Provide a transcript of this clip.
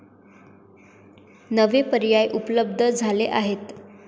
नवे पर्याय उपलब्ध झाले आहेत.